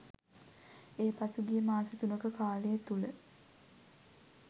එය පසුගිය මාස තුනක කාලය තුළ